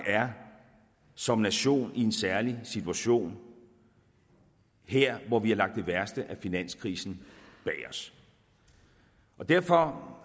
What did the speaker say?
som nation er i en særlig situation her hvor vi har lagt det værste af finanskrisen bag os derfor